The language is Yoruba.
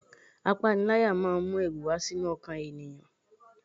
Apanilaya máa ń mu ẹrù wá sínú ọkàn ènìyàn.